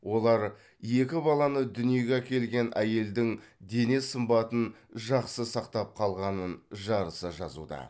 олар екі баланы дүниеге әкелген әйелдің дене сымбатын жақсы сақтап қалғанын жарыса жазуда